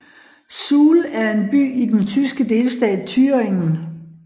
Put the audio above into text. Suhl er en by i den tyske delstat Thüringen